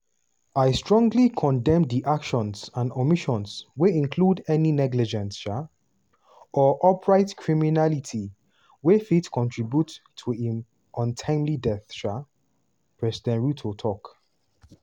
"i strongly condemn di actions and omissions wey include any negligence um or outright criminality wey fit contribute to im untimely death" um president ruto tok.